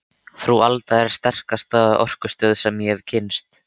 Frú Alda er sterkasta orkustöð sem ég hef kynnst.